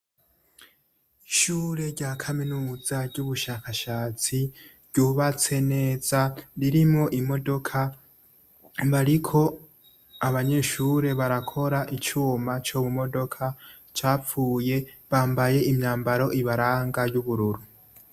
Ishure rya kaminuza ry'ubushakashatsi ryubatse neza ririmo imodoka bariko abanyishure barakora icuma co mumodoka capfuye bambaye imyambaro ibaranga y'ubururu.